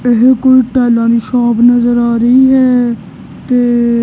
ਇਹ ਕੋਈ ਟਾਈਲਾਂ ਦੀ ਸ਼ੌਪ ਨਜ਼ਰ ਆ ਰਹੀ ਹੈ ਤੇ --